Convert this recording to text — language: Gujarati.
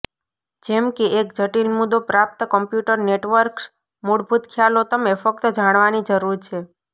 જેમ કે એક જટિલ મુદ્દો પ્રાપ્ત કમ્પ્યુટર નેટવર્ક્સ મૂળભૂત ખ્યાલો તમે ફક્ત જાણવાની જરૂર છે